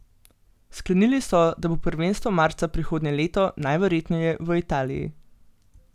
Sklenili so, da bo prvenstvo marca prihodnje leto, najverjetneje v Italiji.